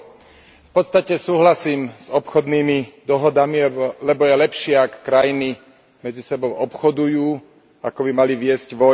V podstate súhlasím s obchodnými dohodami, lebo je lepšie, ak krajiny medzi sebou obchodujú, ako keby mali viesť vojny.